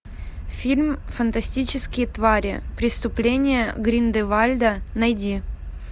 фильм фантастические твари преступления грин де вальда найди